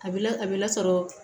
A bɛ la a bɛ lasɔrɔ